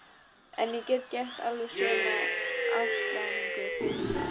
En ég get gert alveg sömu ástarjátninguna fyrir þér.